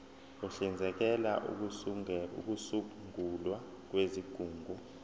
uhlinzekela ukusungulwa kwezigungu